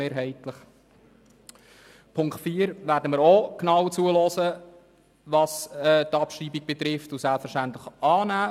Bei Punkt 4 werden wir betreffend die Abschreibung ebenfalls genau zuhören und diesen selbstverständlich annehmen.